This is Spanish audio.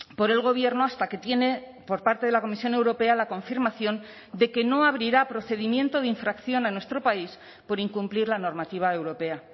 por el gobierno hasta que tiene por parte de la comisión europea la confirmación de que no abrirá procedimiento de infracción a nuestro país por incumplir la normativa europea